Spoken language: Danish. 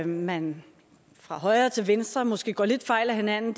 man fra højre til venstre måske går lidt fejl af hinanden